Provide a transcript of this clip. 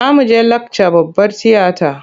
Za mu je lakca babbar tiyata.